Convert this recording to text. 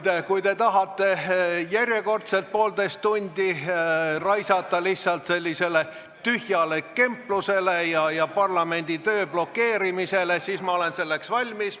Nojah, kui te tahate järjekordselt poolteist tundi raisata lihtsalt tühjale kemplusele ja parlamendi töö blokeerimisele, siis ma olen selleks valmis.